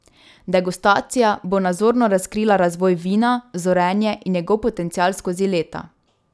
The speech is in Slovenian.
Degustacija bo nazorno razkrila razvoj vina, zorenje in njegov potencial skozi leta.